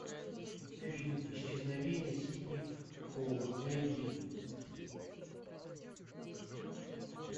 фильм исчезновение сидни холла найди